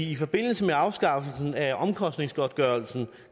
i forbindelse med afskaffelsen af omkostningsgodtgørelsen